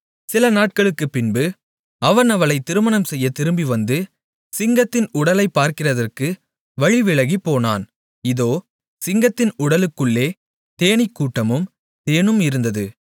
சில நாட்களுக்குப்பின்பு அவன் அவளைத் திருமணம் செய்யத் திரும்பிவந்து சிங்கத்தின் உடலைப் பார்க்கிறதற்கு வழிவிலகிப்போனான் இதோ சிங்கத்தின் உடலுக்குள்ளே தேனீக்கூட்டமும் தேனும் இருந்தது